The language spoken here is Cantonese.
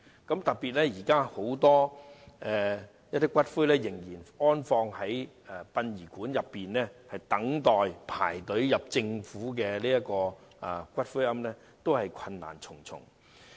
現時有很多骨灰仍然放置在殯儀館內，輪候遷入政府的骨灰安置所，過程困難重重。